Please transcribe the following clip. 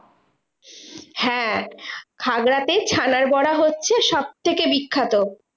হ্যাঁ খাগড়া তে ছানার বড়া হচ্ছে সবথেকে বিখ্যাত।